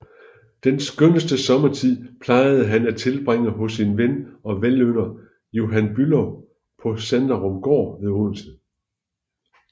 Den skønneste sommertid plejede han at tilbringe hos sin ven og velynder Johan Bülow på Sanderumgaard ved Odense